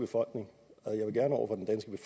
for